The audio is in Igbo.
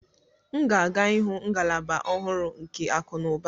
M ga-aga ịhụ ngalaba ọhụrụ nke akunuba.